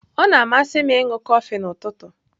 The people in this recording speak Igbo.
Ọ na-amasị m ịṅụ kọfị n'ụtụtụ.